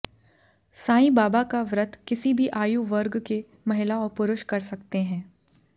साईं बाबा का व्रत किसी भी आयु वर्ग के महिला और पुरुष कर सकते हैं